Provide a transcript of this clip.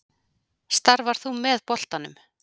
Starfar þú með boltanum?